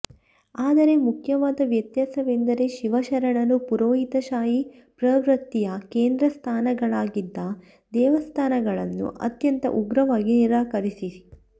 ಆದರೆ ಮುಖ್ಯವಾದ ವ್ಯತ್ಯಾಸವೆಂದರೆ ಶಿವಶರಣರು ಪುರೋಹಿತಶಾಹೀ ಪ್ರವೃತ್ತಿಯ ಕೇಂದ್ರಸ್ಥಾನಗಳಾಗಿದ್ದ ದೇವಸ್ಥಾನಗಳನ್ನು ಅತ್ಯಂತ ಉಗ್ರವಾಗಿ ನಿರಾಕರಿಸಿ